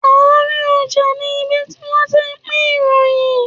Àárín ọjà ni ibi tí wọ́n ti ń pín ìròyìn